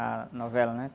A novela, né?